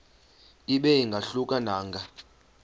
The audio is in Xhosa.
ibe ingahluka nanga